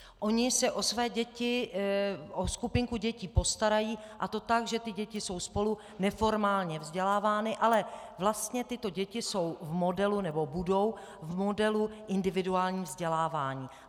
Oni se o své děti, o skupinku dětí, postarají, a to tak, že ty děti jsou spolu neformálně vzdělávány, ale vlastně tyto děti jsou v modelu, nebo budou v modelu individuálního vzdělávání.